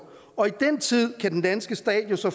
og i den tid kan den danske stat jo så